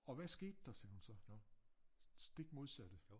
Og hvad skete der sagde hun så det stik modsatte